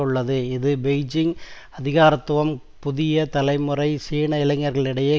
உள்ளது இது பெய்ஜிங் அதிகாரத்துவம் புதிய தலைமுறை சீன இளைஞர்களிடையே